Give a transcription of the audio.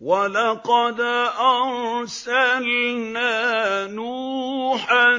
وَلَقَدْ أَرْسَلْنَا نُوحًا